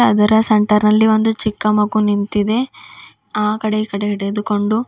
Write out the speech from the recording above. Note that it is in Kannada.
ಅದರ ಸೆಂಟರ್ ನಲ್ಲಿ ಒಂದು ಚಿಕ್ಕ ಮಗು ನಿಂತಿದೆ ಆಕಡೆ ಈಕಡೆ ಹಿಡಿದುಕೊಂಡು.